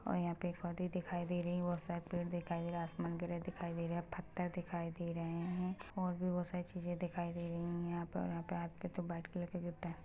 और यहाँ पे एक दिखाई दे रही बहुत सारे पेड़ दिखाई दे रहा है आसमान ग्रे दिखाई दे रहे है फत्तर दिखाई दे रहे है और भी बहुत सारी चीज़े दिखाई दे रही है यहाँ पर और यहाँ पे वाइट कलर ट --